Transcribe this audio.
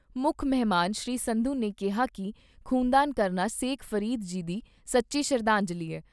ਮੁੱਖ ਮਹਿਮਾਨ ਸ੍ਰੀ ਸੰਧੂ ਨੇ ਕਿਹਾ ਕਿ ਖ਼ੂਨਦਾਨ ਕਰਨਾ ਸ਼ੇਖ ਫਰੀਦ ਜੀ ਨੂੰ ਸੱਚੀ ਸ਼ਰਧਾਂਜਲੀ ਏ।